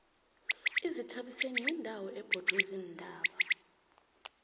izithabiseni yindawo ebhodwe ziintaba